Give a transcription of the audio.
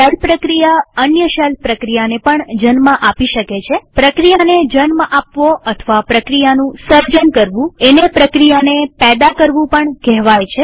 shell પ્રક્રિયા અન્ય shell પ્રક્રિયાને પણ જન્મ આપી શકે છેપ્રક્રિયાને જન્મ આપવો અથવા પ્રક્રિયાનું સર્જન કરવું એને પ્રક્રિયાને પેદા કરવું પણ કહેવાય છે